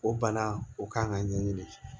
O bana o kan ka ɲɛɲini